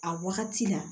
A wagati la